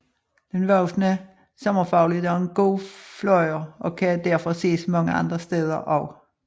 Den voksne sommerfugl er dog en god flyver og kan derfor ses mange andre steder også